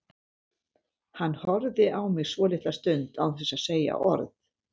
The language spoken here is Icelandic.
Hann horfði á mig svolitla stund án þess að segja orð.